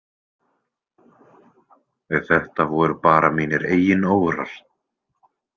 Þetta voru bara mínir eigin órar.